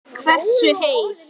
Hversu heil